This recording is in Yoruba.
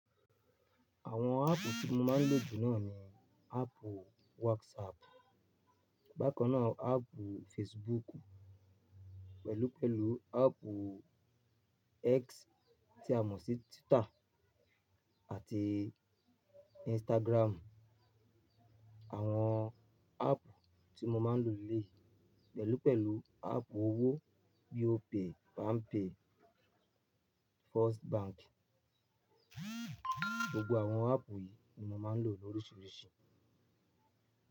Àwọn áàpù tí mo máa ń lò jù náà ni áàpù WhatsApp, bákan náà áàpù Facebook, pẹ̀lú pẹ̀lú áàpù X tí a mọ̀ sí Twitter àti Instagram. Àwọn áàpù tí mo máa ń lò lele pẹ̀lú pẹ̀lú áàpù owó bí i Opay, Palmpay, First Bank. Gbogbo àwọn áàpù yìí ni mo máa ń lò lóriṣiríṣi.